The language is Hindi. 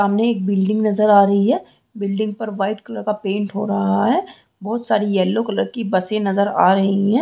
सामने एक बिल्डिंग नज़र आ रही है बिल्डिंग पर वाइट कलर का पेंट हो रहा है बहुत सारी येलो कलर की बसें नज़र आ रही है।